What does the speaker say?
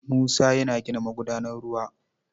Musa yana gina magudanar ruwa.